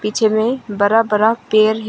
पीछे बड़ा बड़ा पेड़ है।